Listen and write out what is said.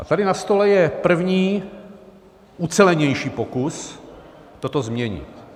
A tady na stole je první ucelenější pokus toto změnit.